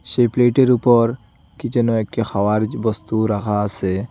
সেই প্লেটের উপর কী যেন একটা খাওয়ার বস্তু রাখা আসে।